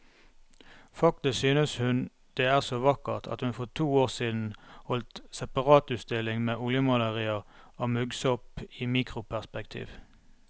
Faktisk synes hun det er så vakkert at hun for to år siden holdt separatutstilling med oljemalerier av muggsopp i mikroperspektiv.